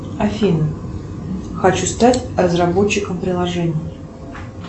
афина хочу стать разработчиком приложений